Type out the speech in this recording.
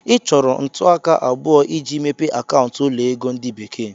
Ị chọrọ ntụaka abụọ iji mepee akaụntụ ụlọ ego ndi bekee.